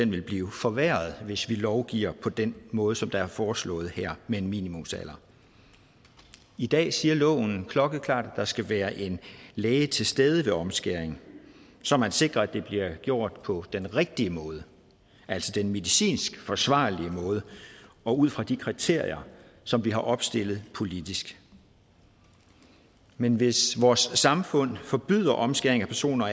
vil blive forværret hvis vi lovgiver på den måde som det er foreslået her med en minimumsalder i dag siger loven klokkeklart at der skal være en læge til stede ved omskæring så man sikrer at det bliver gjort på den rigtige måde altså den medicinsk forsvarlige måde og ud fra de kriterier som vi har opstillet politisk men hvis vores samfund forbyder omskæring af personer